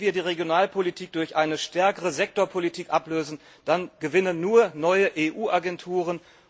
Wenn wir die Regionalpolitik durch eine stärkere Sektorpolitik ablösen, dann gewinnen nur neue EU Agenturen.